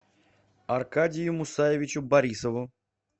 аркадию мусаевичу борисову